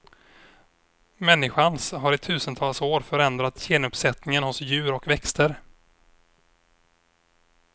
Människans har i tusentals år förändrat genuppsättningen hos djur och växter.